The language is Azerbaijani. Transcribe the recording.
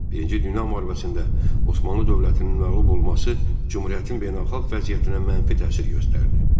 Birinci Dünya Müharibəsində Osmanlı dövlətinin məğlub olması Cümhuriyyətin beynəlxalq vəziyyətinə mənfi təsir göstərdi.